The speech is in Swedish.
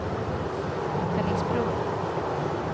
Fellingsbro